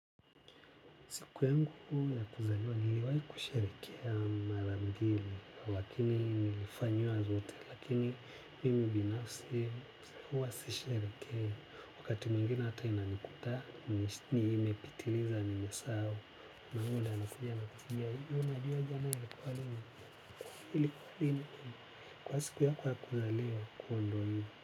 Siku yangu ya kuzaliwa, niliwahi kusherekea mara mbili, lakini nilifanyiwa zote, lakini mimi binafsi, huwa sisherehekei wakati mwingine hata inanikuta, nimepitiliza nimesahau, mamaangu ndo anakuja na kuniita, hivi we unajua jana ilikuwa lini, ilikuwa lini? Ilikuwa siku yako ya kuzaliwa kwahyo ndo hivyo.